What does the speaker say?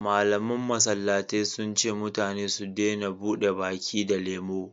malaman masallatai sun ce mutane su dena buɗe baki da lemo